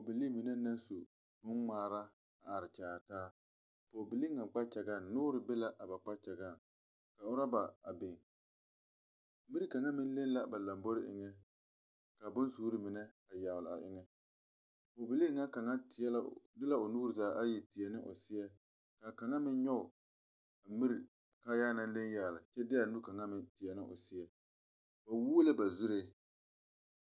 Pɔgbilii mine la su boŋgmaara kyɛ are kyaare taa. Noore be la a pɔgbilii kpakyaga pʋɔ kyɛ ka ɔrɔba biŋ. Miri kaŋ meŋ leŋla a ba laŋboreŋ siŋ ka boŋsuure yagle o pʋɔ. A pɔglee kaŋ de la o nuure zaa ayi teɛ ne o seɛ kyɛ ka kaŋ meŋ de o nu nyog ne miri kaayaa naŋ leŋ yagle kyɛ de o nu teɛ o seɛ. Ba wuula ba zuree.